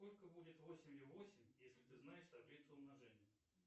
сколько будет восемью восемь если ты знаешь таблицу умножения